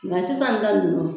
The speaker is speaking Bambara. Nga sisan ta nunnu